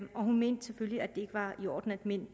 og hun mente selvfølgelig at det ikke var i orden at mænd